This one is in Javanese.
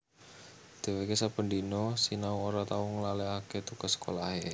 Dheweke saben dina sinau ora tau nglalekake tugas sekolahe